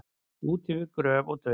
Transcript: Út yfir gröf og dauða